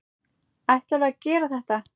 Ætlarðu að gera þetta?